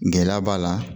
Gɛlɛya b'a la